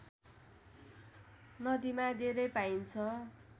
नदीमा धेरै पाइन्छ